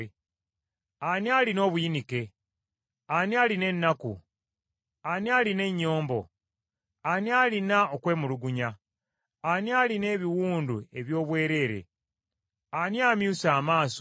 Ani alina obuyinike? Ani alina ennaku? Ani alina ennyombo? Ani alina okwemulugunya? Ani alina ebiwundu eby’obwereere? Ani amyuse amaaso?